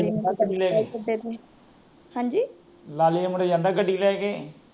ਲਾਲੀ ਦੇ ਮੁੰਡਾ ਜਾਂਦਾ ਗੱਡੀ ਲੈ ਕੇ